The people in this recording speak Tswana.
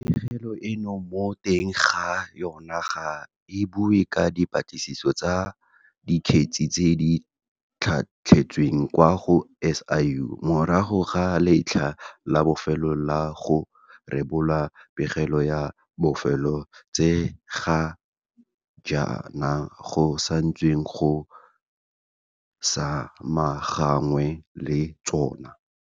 Pegelo eno mo teng ga yona ga e bue ka dipatlisiso tsa dikgetse tse di tlhatlhetsweng kwa go SIU morago ga letlha la bofelo la go rebola pegelo ya bofelo tse ga jaana go santsweng go samaganwe le tsona.